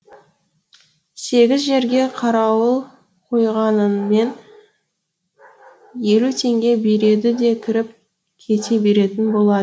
сегіз жерге қарауыл қойғаныңмен елу теңге береді де кіріп кете беретін болады